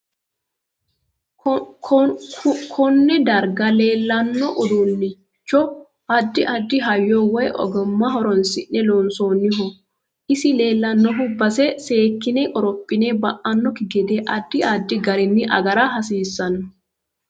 Kunne darga leelano uduunicho addi addi hayyo woy ogimma horoonsine loonsooho isi leelanno base seekine qorophi ba'anokki gede addi addi gariini agara hasiisanno